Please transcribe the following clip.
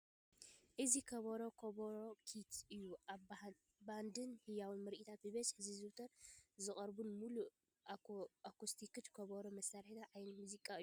እዚ ከበሮ (ከበሮ ኪት ) እዩ። ኣብ ባንድን ህያው ምርኢታትን ብብዝሒ ዝዝውተር ዝቀርበሉን ምሉእ ኣኮስቲክ ከበሮ መሳሪሒ ዓይነት ሙዚቃ እዩ ።